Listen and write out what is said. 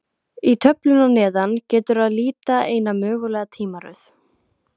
Í töflunni að neðan getur að líta eina mögulega tímaröð.